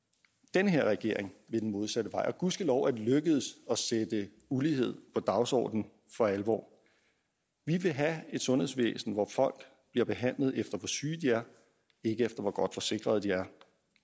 den her regering vil den modsatte vej og gudskelov er det lykkedes at sætte ulighed på dagsordenen for alvor vi vil have et sundhedsvæsen hvor folk bliver behandlet efter hvor syge de er ikke efter hvor godt forsikret de er